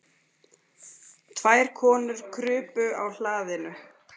Tvær konur krupu á hlaðinu.